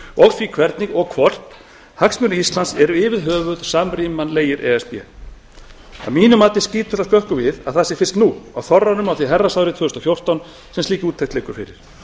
og því hvernig og hvort hagsmunir íslands eru yfirhöfuð samrýmanlegir e s b að mínu mati skýtur það skökku við að það sé fyrst nú á þorranum á því herrans ári tvö þúsund og fjórtán sem slík úttekt liggur fyrir